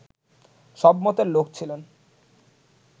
সব মতের লোক ছিলেন